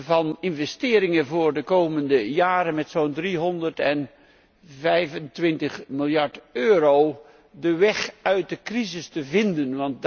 van investeringen voor de komende jaren, zo'n 325 miljard euro, om de weg uit de crisis te vinden.